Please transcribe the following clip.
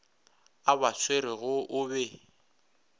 a ba swerego o be